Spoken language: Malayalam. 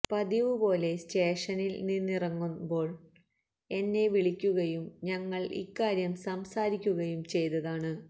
പതിവ് പോലെ സ്റ്റേഷനില് നിന്നിറങ്ങുന്പോള് എന്നെ വിളിക്കുകയും ഞങ്ങള് ഇക്കാര്യം സംസാരിക്കുകയും ചെയ്തതാണ്